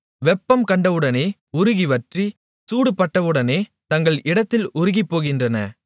வெப்பம் கண்டவுடனே உருகி வற்றி சூடு பட்டவுடனே தங்கள் இடத்தில் உருகிப்போகின்றன